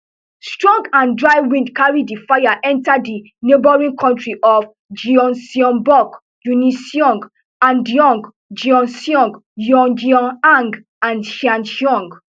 strong and dry winds carry di fire enta di neighbouring counties of gyeongbuk uniseong andong gyeongsong yeongyang and sancheong